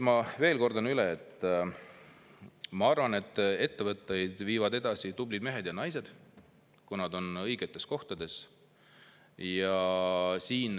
Ma kordan üle: ma arvan, et ettevõtteid viivad edasi tublid mehed ja naised, kui nad on õigetes kohtades.